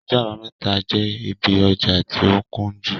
Ọjọ àbámẹ́ta jẹ́ ibí ọjà tí ó kúnjú